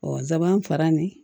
Ɔ saban fara ni